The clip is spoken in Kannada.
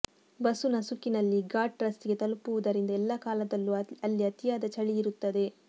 ಬಸ್ಸು ನಸುಕಿನಲ್ಲಿ ಘಾಟ್ ರಸ್ತೆಗೆ ತಲುಪುವುದರಿಂದ ಎಲ್ಲಾ ಕಾಲದಲ್ಲೂ ಅಲ್ಲಿ ಅತಿಯಾದ ಚಳಿ ಇರುತ್ತದೆ